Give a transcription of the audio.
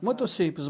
muito simples.